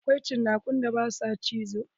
Akwai cinakun da ba sua cizo.